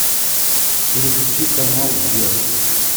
переключи канал вверх